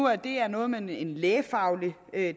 at det er noget med en lægefaglig